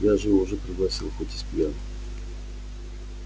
я же его уже пригласил хоть и спьяну